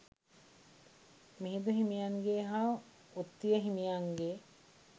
මිහිඳු හිමියන්ගේ හා උත්තිය හිමියන්ගේ